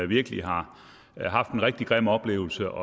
virkelig har haft en rigtig grim oplevelse